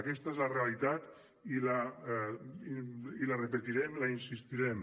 aquesta és la realitat i la repetirem hi insistirem